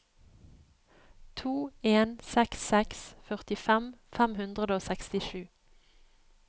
to en seks seks førtifem fem hundre og sekstisju